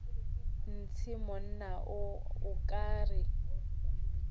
ntshe monna o ka re